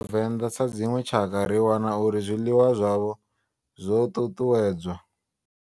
Vhavenda sa dzinwe tshakha ri wana uri zwiḽiwa zwavho zwo tutuwedzwa.